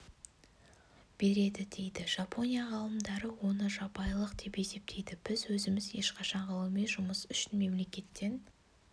береді дейді жапония ғалымдары оны жабайылық деп есептейді біз өзіміз ешқашан ғылыми жұмыс үшін мемлекеттен